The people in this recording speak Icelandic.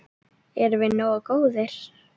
Erum við nógu góðir?